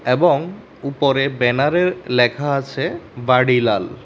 এবং উপরে ব্যানারে ল্যাখা আছে বার্ডিলাল ।